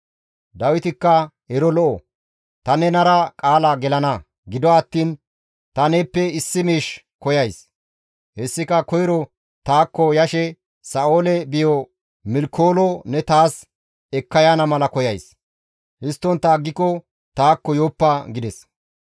Dawitikka, «Ero lo7o; ta nenara qaala gelana; gido attiin ta neeppe issi miish koyays; hessika koyro taakko yashe Sa7oole biyo Milkoolo ne taas ekka yaana mala koyays; histtontta aggiko taakko yooppa» gides.